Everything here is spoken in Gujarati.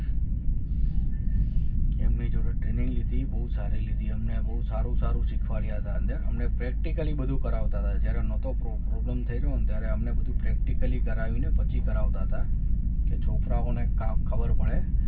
એમની જોડે training લીધી બહુ સારી લીધી અમને બહુ સારું સારું શીખવાડયા હતા અમને practically બધું કરાવતા હતા જ્યારે નહોતો problem થયો ને ત્યારે અમને બધુ practically કરાવીને પછી કરાવતા હતા કે છોકરાઓને કાંઈ ખબર પડે